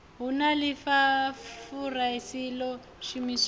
hu na ḽifurase ḽo shumiswaho